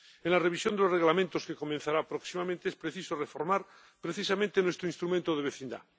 En la revisión de los reglamentos que comenzará próximamente, es preciso reformar precisamente nuestro Instrumento de Vecindad.